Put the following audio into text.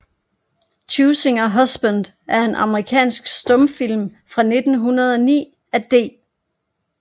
Choosing a Husband er en amerikansk stumfilm fra 1909 af D